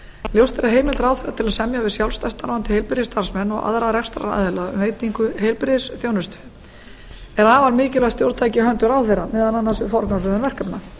ljóst er að heimild ráðherra til að semja við sjálfstætt starfandi heilbrigðisstarfsmenn og aðra rekstraraðila um veitingu heilbrigðisþjónustu er afar mikilvægt stjórntæki í höndum ráðherra meðal annars um forgangsröðun verkefna